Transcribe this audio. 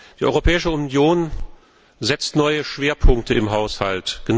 Die Europäische Union setzt neue Schwerpunkte im Haushalt.